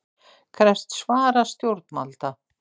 Krefst svara stjórnvalda